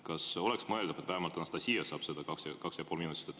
Kas oleks mõeldav, et vähemalt Anastassia saab kaks ja pool minutit?